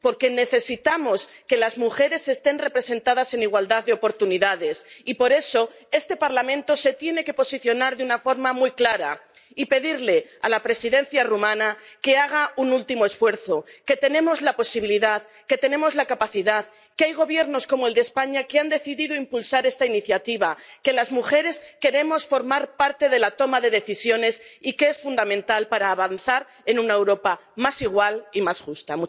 Porque necesitamos que las mujeres estén representadas en igualdad de oportunidades y, por eso, este Parlamento se tiene que posicionar de una forma muy clara y pedirle a la presidencia rumana que haga un último esfuerzo, que tenemos la posibilidad, que tenemos la capacidad, que hay Gobiernos, como el de España, que han decidido impulsar esta iniciativa, que las mujeres queremos formar parte de la toma de decisiones y que es fundamental para avanzar en una Europa más igual y más justa.